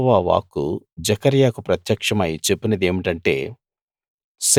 యెహోవా వాక్కు జెకర్యాకు ప్రత్యక్షమై చెప్పినదేమిటంటే